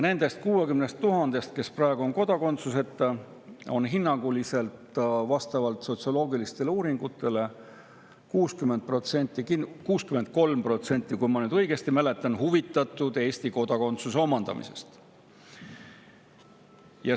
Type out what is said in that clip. Nendest 60 000‑st, kes praegu on kodakondsuseta, on hinnanguliselt, vastavalt sotsioloogilistele uuringutele, 63%, kui ma õigesti mäletan, huvitatud Eesti kodakondsuse omandamisest.